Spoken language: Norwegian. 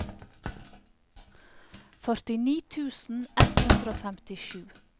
førtini tusen ett hundre og femtisju